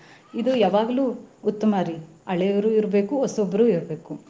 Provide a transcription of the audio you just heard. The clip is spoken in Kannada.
ಇದ್ ಯಾವಾಗ್ಲೂ ಉತ್ತಮಾರಿ ಹಳೇವ್ರು ಇರ್ಬೇಕು ಹೊಸಬ್ರು ಇರ್ಬೇಕು.